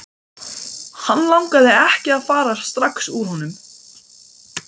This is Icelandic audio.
Hann langaði ekki að fara strax úr honum.